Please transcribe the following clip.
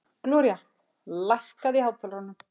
Gloría, lækkaðu í hátalaranum.